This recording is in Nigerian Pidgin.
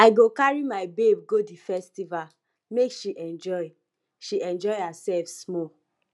i go carry my babe go di festival make she enjoy she enjoy hersef small